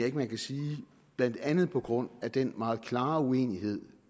ikke man kan sige blandt andet på grund af den meget klare uenighed